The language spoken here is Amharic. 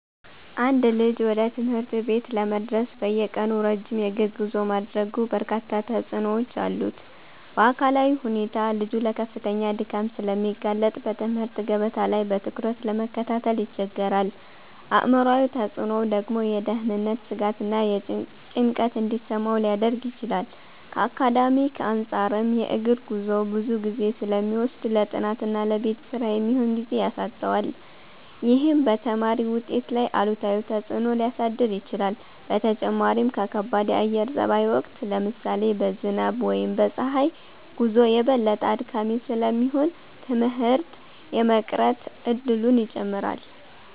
አንድ ልጅ ወደ ትምህርት ቤት ለመድረስ በየቀኑ ረጅም የእግር ጉዞ ማድረጉ በርካታ ተጽዕኖዎች አሉት። በአካላዊ ሁኔታ ልጁ ለከፍተኛ ድካም ስለሚጋለጥ በትምህርት ገበታ ላይ በትኩረት ለመከታተል ይቸገራል። አእምሯዊ ተጽዕኖው ደግሞ የደህንነት ስጋትና ጭንቀት እንዲሰማው ሊያደርግ ይችላል። ከአካዳሚክ አንፃርም የእግር ጉዞው ብዙ ጊዜ ስለሚወስድ ለጥናትና ለቤት ስራ የሚሆን ጊዜ ያሳጣዋል። ይህም በተማሪው ውጤት ላይ አሉታዊ ተጽዕኖ ሊያሳድር ይችላል። በተጨማሪም በከባድ የአየር ጸባይ ወቅት (ለምሳሌ በዝናብ ወይም በፀሐይ) ጉዞው የበለጠ አድካሚ ስለሚሆን ትምህርት የመቅረት እድሉን ይጨምራል።